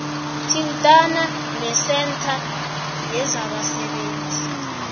thintana nesentha yezabasebenzi